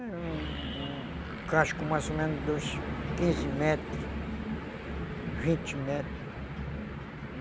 É um um casco mais ou menos de uns quinze metros, vinte metros.